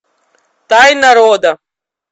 тайна рода